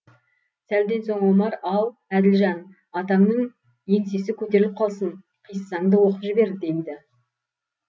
сәлден соң омар ал әділжан атаңның еңсесі көтеріліп қалсын қиссаңды оқып жібер дейді